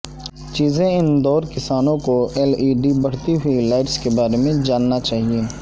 چیزیں اندور کسانوں کو ایل ای ڈی بڑھتی ہوئی لائٹس کے بارے میں جاننا چاہیے